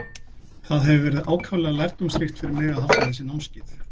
Það hefur verið ákaflega lærdómsríkt fyrir mig að halda þessi námskeið.